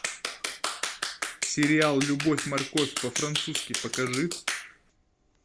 сериал любовь морковь по французски покажи